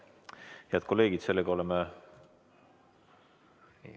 Head kolleegid, sellega oleme ...